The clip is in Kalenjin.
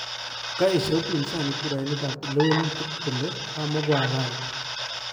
Kaesha upinzani kurainik ap lewenutik kole komikohalali